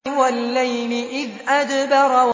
وَاللَّيْلِ إِذْ أَدْبَرَ